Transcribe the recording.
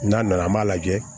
N'a nana an m'a lajɛ